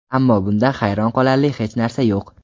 Ammo bunda hayron qolarli hech narsa yo‘q.